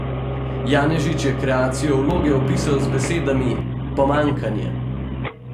Janežič je kreacijo vloge opisal z besedami: "Pomanjkanje.